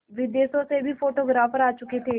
विदेशों से भी फोटोग्राफर आ चुके थे